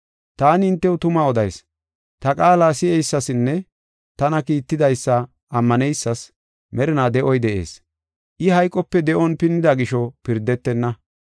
“Taani hintew tuma odayis; ta qaala si7eysasinne tana kiittidaysa ammaneysas merinaa de7oy de7ees. I hayqope de7on pinnida gisho pirdetenna.